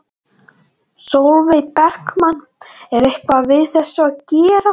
Sólveig Bergmann: En er eitthvað við þessu að gera?